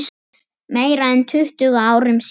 Meira en tuttugu árum síðar.